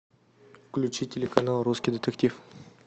включи телеканал русский детектив